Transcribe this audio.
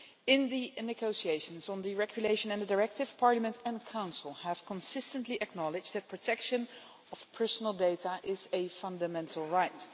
In the negotiations on the regulation and the directive, Parliament and Council have consistently acknowledged that protection of personal data is a fundamental right.